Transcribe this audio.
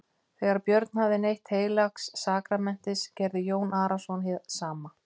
Þegar Björn hafði neytt heilags sakramentis gerði Jón Arason hið sama.